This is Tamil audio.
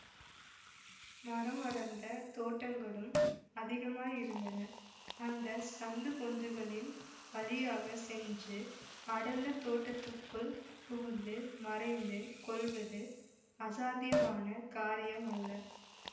மரமடர்ந்த தோட்டங்களும் அதிகமாயிருந்தன அந்த சந்து பொந்துகளின் வழியாக சென்று அடர்ந்த தோட்டத்துக்குள் புகுந்து மறைந்து கொள்வது அசாத்தியமான காரியம் அல்ல